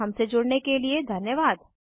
हमसे जुड़ने के लिए धन्यवाद